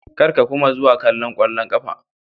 Kar ka kuma zuwa kallon kwallon kafa.